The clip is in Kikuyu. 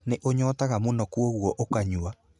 Nĩ ũnyotaga mũno koguo ũkanyua.